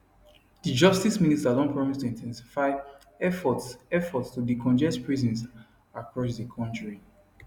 di justice minister don promise to in ten sify efforts efforts to decongest prisons across di kontri